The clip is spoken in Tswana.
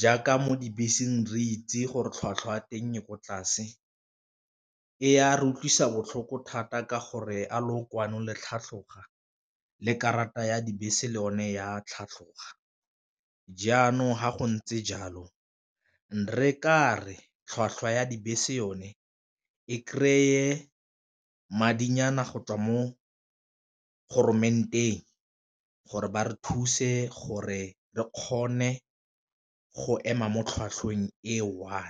jaaka mo dibeseng re itse gore tlhwatlhwa ya teng e ko tlase, e ya re utlwisa botlhoko thata ka gore a lookwane le tlhatlhoga le karata ya dibese le one ya tlhatlhoga, jaanong fa go ntse jalo ne re kare tlhwatlhwa ya dibese yone e kry-e madinyana go tswa mo go gore ba re thuse gore re kgone go ema mo tlhwatlhweng e one.